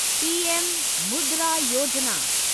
PM Mudra Yojana